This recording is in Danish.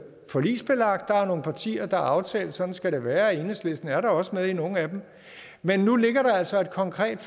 forligsbelagte der er nogle partier der har aftalt at sådan skal det være og enhedslisten er da også med i nogle af dem men nu ligger der altså et konkret